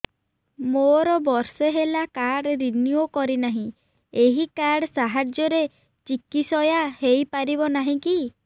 ମୋର ବର୍ଷେ ହେଲା କାର୍ଡ ରିନିଓ କରିନାହିଁ ଏହି କାର୍ଡ ସାହାଯ୍ୟରେ ଚିକିସୟା ହୈ ପାରିବନାହିଁ କି